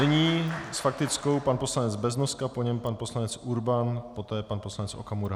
Nyní s faktickou pan poslanec Beznoska, po něm pan poslanec Urban, poté pan poslanec Okamura.